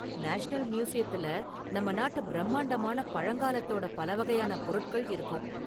National மியூசியத்துல நம்ம நாட்டு பிரம்மாண்டமான பழங்காலத்தோட பல வகையான பொருட்கள் இருக்கும்.